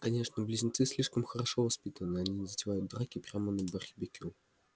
конечно близнецы слишком хорошо воспитаны они не затевают драки прямо на барбекю